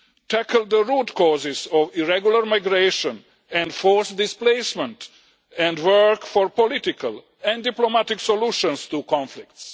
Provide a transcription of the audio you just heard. Tackle the root causes of irregular migration and forced displacement and work for political and diplomatic solutions to conflicts.